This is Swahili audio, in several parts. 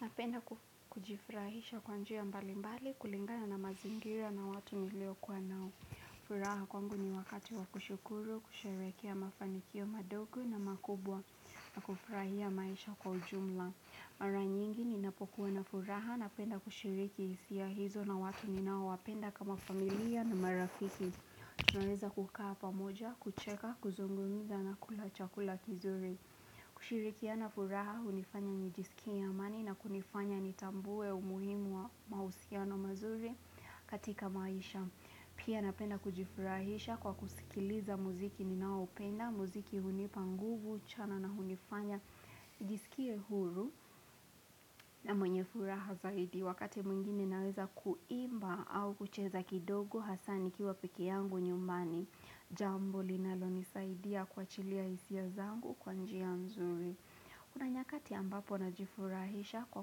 Napenda ku kujifrahisha kwa njia mbali mbali kulingana na mazingira na watu nilio kuwa nao. Furaha kwangu ni wakati wa kushukuru, kusherehekea mafanikio madogo na makubwa na kufurahia maisha kwa ujumla. Mara nyingi ninapokuwa na furaha napenda kushiriki hisia hizo na watu ninaowapenda kama familia na marafiki. Tunaweza kukaa pamoja, kucheka, kuzungumza na kula chakula kizuri. Kushirikiana furaha hunifanya nijisikie amani na kunifanya nitambue umuhimu wa mahusiano mazuri katika maisha. Pia napenda kujifurahisha kwa kusikiliza muziki ninaoupenda, muziki hunipa nguvu chana na hunifanya nijisikie huru na mwenye furaha zaidi. Wakati mwingini naweza kuimba au kucheza kidogo hasaa nikiwa pekee yangu nyumbani, jambo linalonisaidia kuachilia hisia zangu kwa njia mzuri. Kuna nyakati ambapo najifurahisha kwa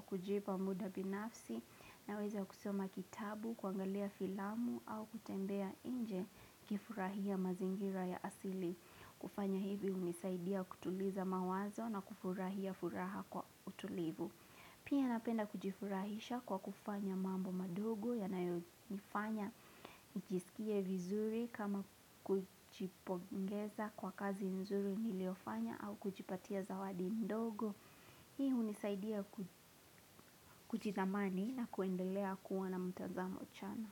kujipa muda binafsi naweza kusoma kitabu, kuangalia filamu au kutembea inje kifurahia mazingira ya asili. Kufanya hivi unisaidia kutuliza mawazo na kufurahia furaha kwa utulivu. Pia napenda kujifurahisha kwa kufanya mambo madogo yanayofanya nijisikie vizuri kama kujipongeza kwa kazi nzuri niliyofanya au kujipatia zawadi ndogo. Hii hunisaidia ku kuchidhamani na kuendelea kuona mtazamo chanya.